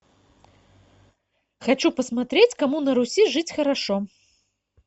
хочу посмотреть кому на руси жить хорошо